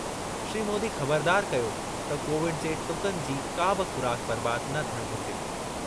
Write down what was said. श्री मोदी ख़बरदारु कयो त कोविड जे टुकनि जी का बि ख़ुराक बर्बाद न थियणु घुरिजे।